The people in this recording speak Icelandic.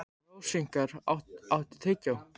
Rósinkar, áttu tyggjó?